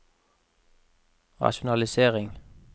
rasjonalisering